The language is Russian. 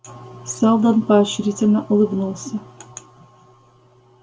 сэлдон поощрительно улыбнулся